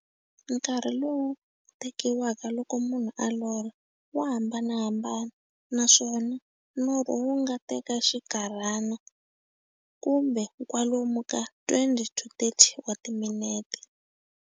Nkarhi lowu tekiwaka loko munhu a lorha, wa hambanahambana, naswona norho wu nga teka xinkarhana, kumbe kwalomu ka 20-30 wa timinete.